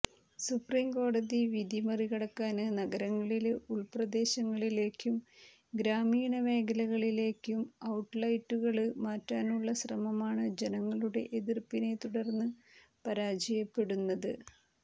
supreme കോടതി വിധി മറികടക്കാന് നഗരങ്ങളില് ഉള്പ്രദേശങ്ങളിലേക്കും ഗ്രാമീണ മേഖലകളിലേക്കും ഔട്ട്ലെറ്റുകള് മാറ്റാനുള്ള ശ്രമമാണ് ജനങ്ങളുടെ എതിര്പ്പിനെ തുടര്ന്ന് പരാജയപ്പെടുന്നത്